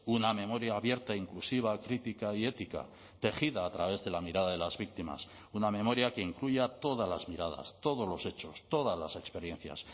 una memoria abierta inclusiva crítica y ética tejida a través de la mirada de las víctimas una memoria que incluya todas las miradas todos los hechos todas las experiencias